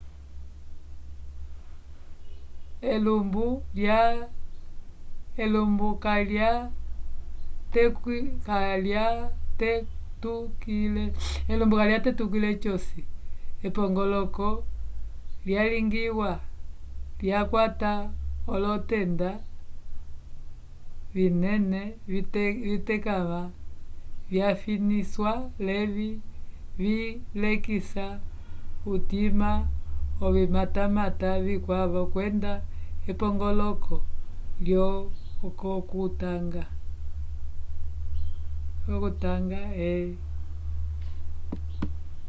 elumbu kayatetukile c'osi epongoloko lyalingiwa lyakwata olotenda vinene vitekãva vyafinisiwa l'evi vilekisa utima ovimatamata vikwavo kwenda epongoloko lyo o okutanga e